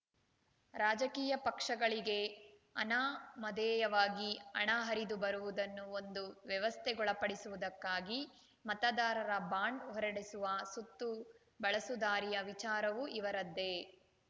ರಾಜಕೀಯ ಪಕ್ಷಗಳಿಗೆ ಅನಾಮಧೇಯವಾಗಿ ಹಣ ಹರಿದು ಬರುವುದನ್ನು ಒಂದು ವ್ಯವಸ್ಥೆಗೊಳಪಡಿಸುವುದಕ್ಕಾಗಿ ಮತದಾರರ ಬಾಂಡ್‌ ಹೊರಡಿಸುವ ಸುತ್ತುಬಳಸುದಾರಿಯ ವಿಚಾರವೂ ಇವರದ್ದೇ